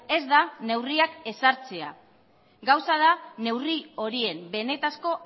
ez da neurriak ezartzea gauza da neurri horien benetako